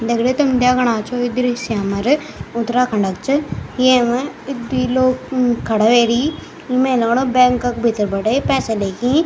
दगडियों तुम देखणा छो ये दृश्य हमारे उत्तराखण्ड को च येमा यी द्वि लोग म खड़ा वेरी में लगणु बैंक क्का भीतर बटी यी पैसा लेकीं --